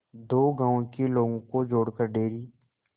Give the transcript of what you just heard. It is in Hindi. दो गांवों के लोगों को जोड़कर डेयरी